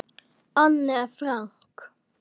Anne Frank.